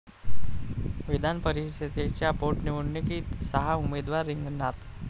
विधानपरिषदेच्या पोटनिवडणुकीत सहा उमेदवार रिंगणात